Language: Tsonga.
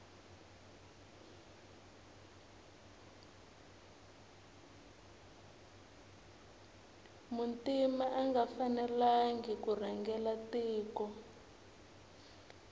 muntima anga fanelangi kurhangela tiko